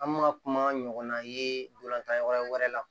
An bɛ ka kuma ɲɔgɔnna ye ntolantan yɔrɔ wɛrɛ la